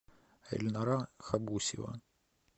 эльнара хабусева